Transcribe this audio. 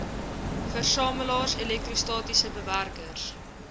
versamelaars elektrostatiese bewerkers